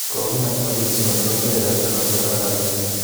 Kogimach Malinzi kolipan kebeberta noton nebo rabinik